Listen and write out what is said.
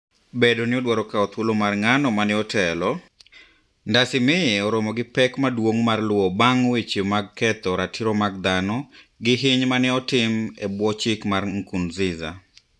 Bedo ni odwaro kawo dhuolo mar ng'ano mane otelo, Ndaysimiye oromo gi pek maduong' mar luwo bang' weche mag ketho ratiro mag dhano gi hiny mane otim e bwo chik mar Nkurnziza.